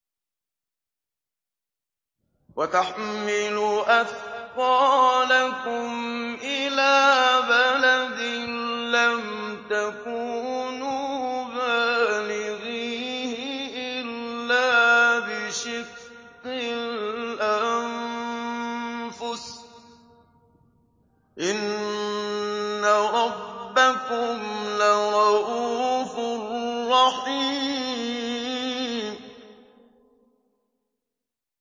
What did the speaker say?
وَتَحْمِلُ أَثْقَالَكُمْ إِلَىٰ بَلَدٍ لَّمْ تَكُونُوا بَالِغِيهِ إِلَّا بِشِقِّ الْأَنفُسِ ۚ إِنَّ رَبَّكُمْ لَرَءُوفٌ رَّحِيمٌ